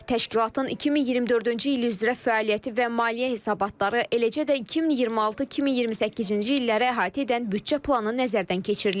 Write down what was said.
Təşkilatın 2024-cü il üzrə fəaliyyəti və maliyyə hesabatları, eləcə də 2026-2028-ci illəri əhatə edən büdcə planı nəzərdən keçirilib.